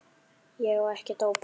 Ég á ekkert ópal